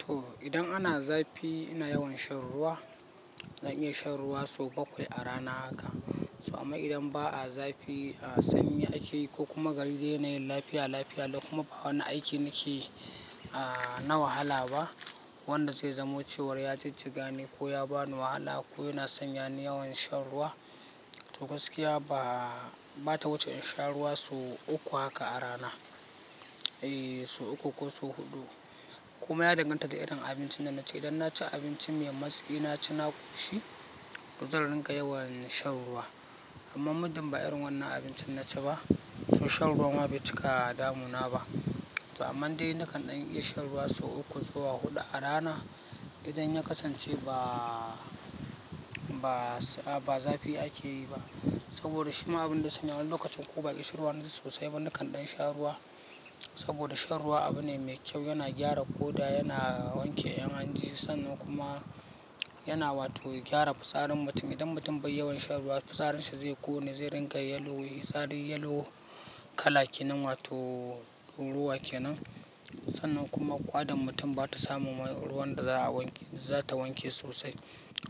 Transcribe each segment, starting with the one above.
To idan ana zafi ina yawan shan ruwa, zan iya shan ruwa sau bakwai a rana haka. Amma idan ba a zafi, sanyi akeyi ko kuma gari yana yin lafiya, lafiya lau kuma ba wani aiki nike na wahala ba wanda zai zamo cewa ya jijjiga ni ko ya bani wahala ko yana sanya ni yawan shan ruwa, to gaskiya ba, ba ta wuce in sha ruwa sau uku. Uku haka a rana, eh sau uku ko sau huɗu. Kuma ya danganta da irin abincin da na ci. Idan na ci abinci mai matsi, na ci kushi, zai ringa yawan shan ruwa. Amma muddin ba irin wannan abincin na ci ba, to shan ruwa ma bai cika damuna ba. To amma dai nakan ɗan iya shan ruwa sau uku zuwa huɗu a rana idan ya kasance, ba zafi ake yi ba. Saboda shi ma abin da ya sanya wani lokacin ko ba kishin ruwa naji sosai ba nakan ɗan sha ruwa. Saboda shan ruwa abu ne mai kyau, yana gyara ƙoda, yana wanke ƴan hanji sanan kuma yana wato gyara fitsarin mutum. Idan mutum bai yawan shan ruwa fitsarin shi zai ƙone, zai ringa yellow, fitsari yellow kala ke nan ma to durawa ke nan. Sannan kuma ƙwadan mutum ba ta samu ruwan da za ta wanke sosai.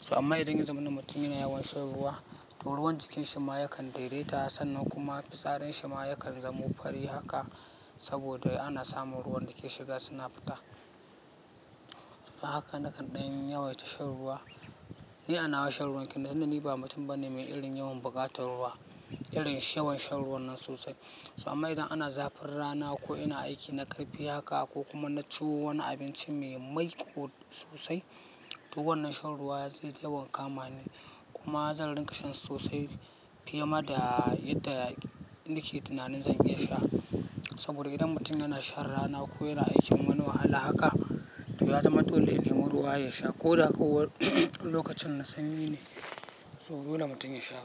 To amma idan ya zama na mutum yana yawan shan ruwa, to ruwan jikin shi ma yakan daidaita sannan kuma fitsarin shi ma yakan zamo fari haka saboda ana samun ruwan da ke shiga suna fita. Haka nakan ɗan yawaita shan ruwa. Ni a nawa shan ruwan ni ba mutum bane mai irin yawan buƙatar ruwa, irin yawan shan ruwa nan sosai. Amma idan ana zafin rana ko ina aiki na karfi haka ko kuma na ci wani abinci mai maiƙo sosai, to wannan shan ruwa zai ta yawanka mani. Kuma zan rinka sha sosai fiye da yadda nake tunanin zan iya sha. Saboda idan mutum yana shan rana ko yana aikin wani wahala haka, to ya zama dole ya nema ruwa ya sha ko da ko lokacin na sanyi ne, to dole mutum ya sha.